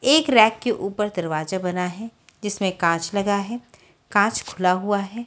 एक रैक के ऊपर दरवाजा बना है जिसमें कांच लगा है कांच खुला हुआ है।